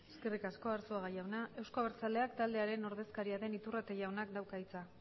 eskerrik asko arzuaga jauna euzko abertzaleak taldearen ordezkaria den iturrate jaunak dauka hitza